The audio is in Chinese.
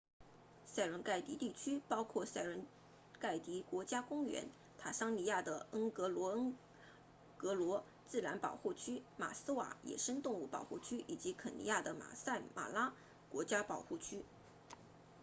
塞伦盖蒂 serengeti 地区包括塞伦盖蒂 serengeti 国家公园坦桑尼亚的恩戈罗恩戈罗 ngorongoro 自然保护区马斯瓦 maswa 野生动物保护区以及肯尼亚的马赛马拉 maasai mara 国家保护区